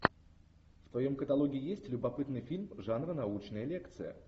в твоем каталоге есть любопытный фильм жанра научная лекция